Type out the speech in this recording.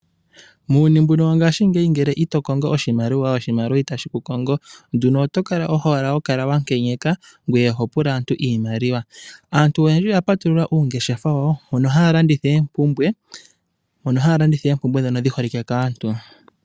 Muuyuni mbuno wo ngashingeyi ngele ito kongo oshimaliwa, oshimaliwa itashi ku kongo. Nduno oto kala owala wa nkenyeka, ngoye oho pula aantu iimaliwa. Aantu oyendji oya patulula oongeshefa wo, mono haya landitha oompumbwe ndhono dhi holike kaantu.